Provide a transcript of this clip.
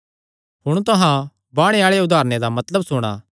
हुण तुहां बाणे आल़े उदारणे दा मतलब सुणा